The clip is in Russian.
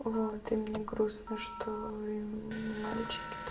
вот и мне грустно что и мальчики т